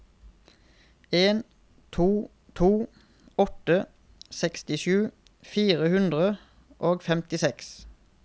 en to to åtte sekstisju fire hundre og femtiseks